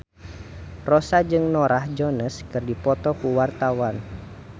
Rossa jeung Norah Jones keur dipoto ku wartawan